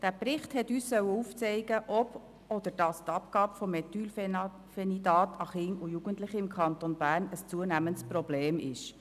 Der Bericht sollte uns aufzeigen, ob die Abgabe von Methylphenidat an Kinder und Jugendliche im Kanton Bern ein zunehmendes Problem sei.